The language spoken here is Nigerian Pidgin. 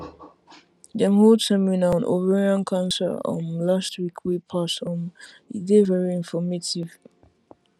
dem hold seminar on ovarian cancer um last week wey pass um e dey very informative